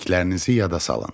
Bildiklərinizi yada salın.